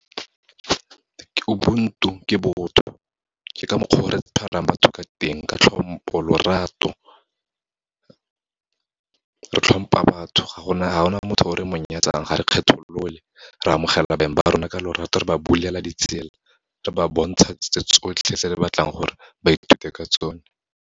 Ke ubuntu, ke botho. Ke ka mokgwa o re tshwarang batho ka teng, ka tlhompo, lorato. Re tlhompa batho, ga gona motho o re mo nyatsang, ga re kgetholole, re amogela baeng ba rona ka lorato, re ba bulela ditsela, re ba bontsha tse tsotlhe tse re batlang gore ba ithute ka tsone.